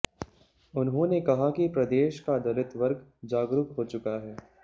उन्होंने कहा कि प्रदेश का दलित वर्ग जागरूक हो चुका है